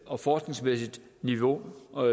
og forskningsmæssigt niveau og